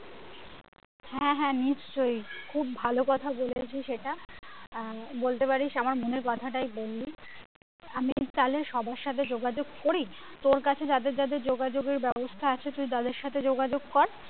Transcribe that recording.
হ্যাঁ হ্যাঁ নিশ্চয়ই খুব ভালো কথা বলেছিস এটা আহ বলতে পারিস আমার মনের কথাটা ই বললি আমি তাহলে সবার সাথে যোগাযোগ করি তোর কাছে যাদের যাদের যোগাযোগ এর ব্যাবস্থা আছে তুই তাদের সাথে যোগাযোগ কর।